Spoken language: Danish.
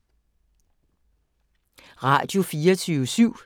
Radio24syv